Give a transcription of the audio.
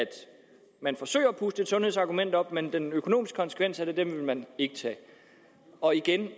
puste et sundhedsargument op men den økonomiske konsekvens af det vil man ikke tage og igen